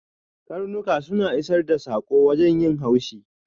Ƙarnuka suna isar da sako wajen yin haushi.